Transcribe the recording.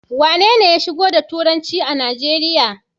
Wanene ya shigo da turanci a Najeriya?